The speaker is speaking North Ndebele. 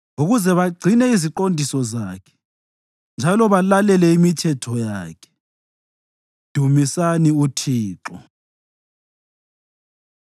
ukuze bagcine iziqondiso zakhe njalo balalele imithetho yakhe. Dumisani uThixo.